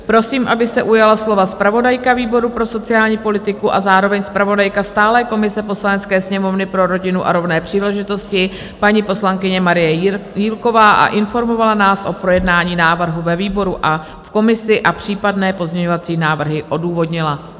Prosím, aby se ujala slova zpravodajka výboru pro sociální politiku a zároveň zpravodajka stálé komise Poslanecké sněmovny pro rodinu a rovné příležitosti, paní poslankyně Marie Jílková, a informovala nás o projednání návrhu ve výboru a v komisi a případné pozměňovací návrhy odůvodnila.